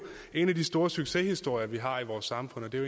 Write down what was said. en af de store succeshistorier vi har i vores samfund og det er